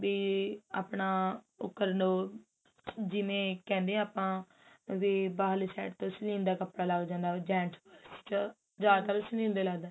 B ਆਪਣਾ ਕਰਨ ਉਹ ਜਿਵੇਂ ਕਹਿੰਦੇ ਆ ਆਪਾਂ ਵੀ ਬਾਹਰਲੇ side ਤੋਂ ਸਨੀਲ ਦਾ ਕਪੜਾ ਲੱਗ ਜਾਂਦਾ ਵੀ gents ਵਿੱਚ ਜਿਆਦਾਤਰ ਸਨੀਲ ਦਾ ਲੱਗਦਾ